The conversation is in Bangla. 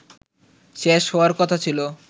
শেষ হওয়ার কথা ছিল